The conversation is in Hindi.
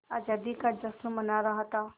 आज़ादी का जश्न मना रहा था